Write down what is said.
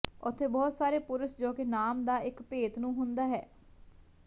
ਉੱਥੇ ਬਹੁਤ ਸਾਰੇ ਪੁਰਸ਼ ਜੋ ਕਿ ਨਾਮ ਦਾ ਇੱਕ ਭੇਤ ਨੂੰ ਹੁੰਦਾ ਹੈ